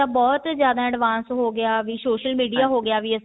ਬਹੁਤ ਜ਼ਿਆਦਾ advance ਹੋਗਿਆ ਵੀ social media ਹੋਗਿਆ